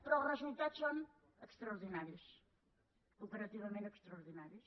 però els resultats són extraordinaris comparativament extraordinaris